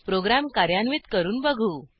program कार्यान्वित करून बघू